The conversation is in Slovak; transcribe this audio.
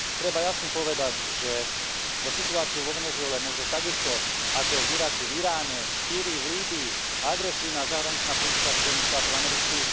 Treba jasne povedať, že za situáciu vo Venezuele môže takisto ako v Iraku, v Iráne, v Sýrii, V Líbyi agresívna zahraničná politika Spojených štátov amerických.